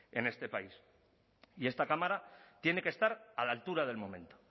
en este país y esta cámara tiene que estar a la altura del momento